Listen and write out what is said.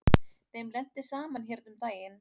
Þeim lenti saman hérna um daginn.